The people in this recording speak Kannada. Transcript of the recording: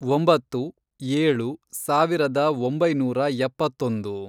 ಒಂಬತ್ತು, ಏಳು, ಸಾವಿರದ ಒಂಬೈನೂರ ಎಪ್ಪತ್ತೊಂದು